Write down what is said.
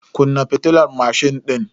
Kunna fitilar mashin din.